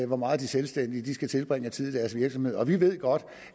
hvor meget de selvstændige skal tilbringe af tid i deres virksomhed vi ved godt